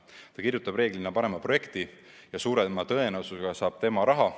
Ta kirjutab reeglina parema projekti ja suurema tõenäosusega saab just tema raha.